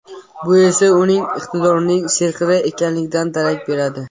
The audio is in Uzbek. Bu esa uning iqtidorining serqirra ekanligidan darak beradi.